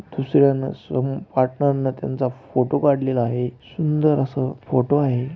दुसर्‍यान समोर त्यांचं फोटो काढलेलं आहे. सुंदर आस फोटो आहे.